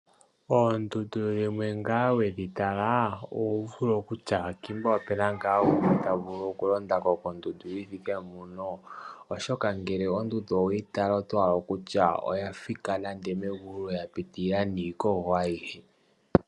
Oondundu dhimwe ngele wedhi tala oto vulu okutya ngika opuna omuntu ta vulu oku londako kondundu yithike mpoka. Oshoka ngele ondundu oweyi tala oto hala okutya oya thika nande omegulu yapi tili la iikogo ayihe.